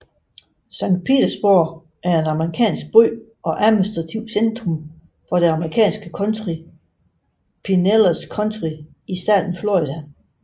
Saint Petersburg er en amerikansk by og administrativt centrum for det amerikanske county Pinellas County i staten Florida